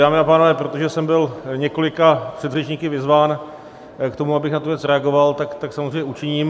Dámy a pánové, protože jsem byl několika předřečníky vyzván k tomu, abych na tu věc reagoval, tak tak samozřejmě učiním.